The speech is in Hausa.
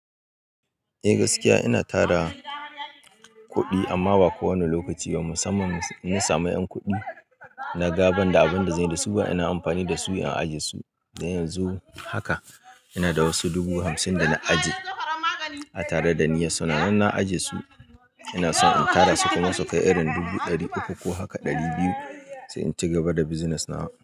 Eh gaskiya ina tada kuɗi amma ba kowane lokaci. Musamman idan na samu ƴan kuɗi naga banda abin da zanyi da su ba ina amfani da su in ajiye su. Dan yanzu haka ina da wasu dubu hamsin da na ajiye a tare da niyyar suna. Nan na ajiye su ina son in tada su kuma su kai irin dubu ɗari uku ko haka ɗari biyu sai in ci gaba da bizinas na.